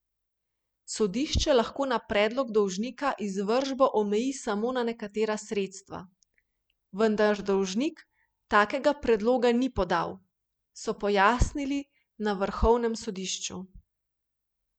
Sodišče lahko na predlog dolžnika izvršbo omeji samo na nekatera sredstva, vendar dolžnik takega predloga ni podal, so pojasnili na vrhovnem sodišču.